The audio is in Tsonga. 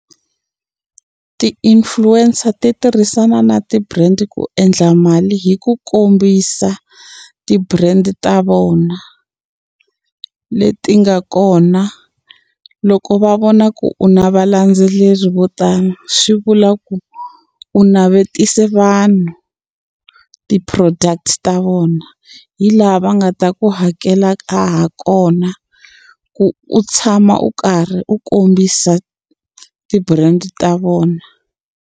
Ti-influencer ti tirhisana na ti-brand ku endla mali hi ku kombisa ti-brand ta vona leti nga kona loko va vona ku u na valendzeleri vo tala swi vula ku u navetise vanhu ti-product ta vona hi laha va nga ta ku hakela ha kona ku u tshama u karhi u kombisa ti-brand ta vona.